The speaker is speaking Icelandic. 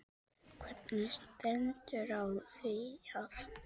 Hvernig stendur á því að